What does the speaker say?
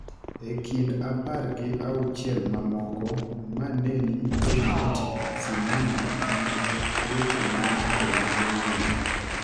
e kind apar gi auchiel mamoko ma ne ni e ng’et sinema mag weche ma ng’ato nyalo ng’eyo.